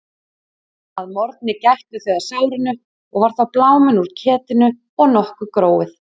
Að morgni gættu þau að sárinu og var þá bláminn úr ketinu og nokkuð gróið.